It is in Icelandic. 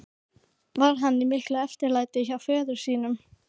Var hann í miklu eftirlæti hjá föður sínum.